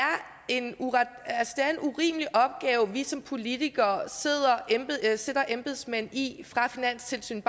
en urimelig opgave vi som politikere sætter embedsmænd i fra finanstilsynet